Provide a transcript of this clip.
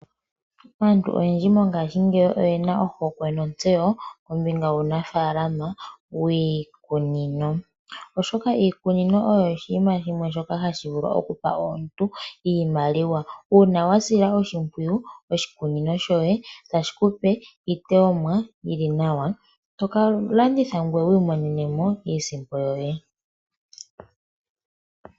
Aantu oyendji mongashingeyi oyena ohokwe nontseyo kombinga yuunafaalama wiikunino. Oshikunino osho oshinima shimwe shoka hashi vulu oku pa omuntu iimaliwa, uuna we shi sila oshimpwiyu otashi ku pe iiteyomwa iiwanawa mbyoka to ka landitha ngweye wu imonene mo iisimpo yoye.